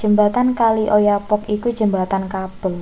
jembatan kali oyapock iku jembatan kabel